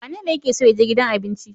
Wanene yake so ya je gidan abinci?